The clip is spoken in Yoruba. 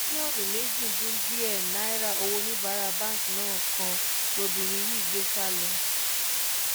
mílíọ̀nù méjì dín díẹ̀ náírà owó oníbàárà báǹkì náà kan lobìnrin yìí gbé sá lọ